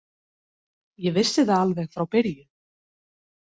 Ég vissi það alveg frá byrjun.